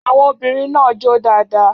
Àwọn obìnrin náà jó dáadáa.